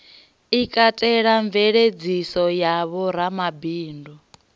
i katelaho mveladziso ya vhoramabindu